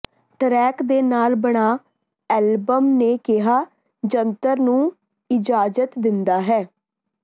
track ਦੇ ਨਾਲ ਬਣਾ ਐਲਬਮ ਨੇ ਕਿਹਾ ਜੰਤਰ ਨੂੰ ਇਜਾਜ਼ਤ ਦਿੰਦਾ ਹੈ